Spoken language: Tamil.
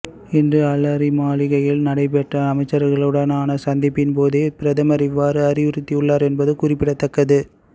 இன்று அலரிமாளிகையில் நடைபெற்ற அமைச்சர்களுடனான சந்திப்பின் போதே பிரதமர் இவ்வாறு அறிவுறுத்தியுள்ளார் என்பது குறிப்பிடத்தக்கது